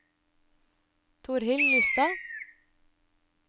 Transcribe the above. Torhild Lystad